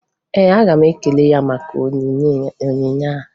Ee, aga m ekele ya maka onyinye a